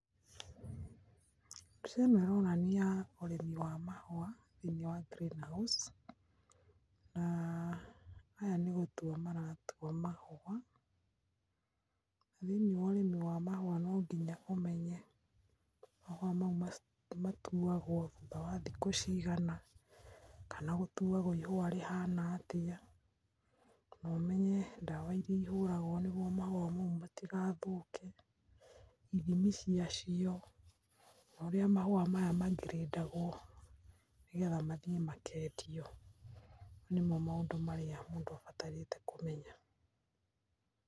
Mbica ino ironania urimi wa mahua thiini wa greenhouse na aya nigutua maratua mahua. Thiini wa urimi wa mahua nonginya umenye mahua mau matuagwo thutha wa thiku cigana, kana gutuagwo ihua rihana atia, nomenye dawa iria ihuragwo niguo mahua mau matigathuke , ithimi ciacio noria mahua maya magridagwo nigetha mathie makendio. Mau nimo maundu maria mundu abatarite kumenya .